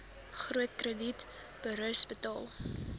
groot kredietburos betaal